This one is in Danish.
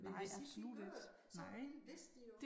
Men hvis ikke de gør det så vil vidste de jo